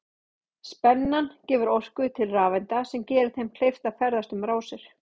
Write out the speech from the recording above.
Spennan gefur orku til rafeinda sem gerir þeim kleift að ferðast um rásir.